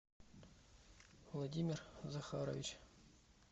владимир захарович